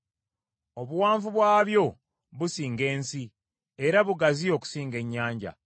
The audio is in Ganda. Obuwanvu bwabyo businga ensi era bugazi okusinga ennyanja.